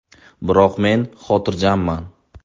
Biroq men xotirjamman.